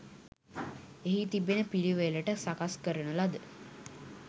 එහි තිබෙන පිළිවෙළට සකස්‌ කරන ලද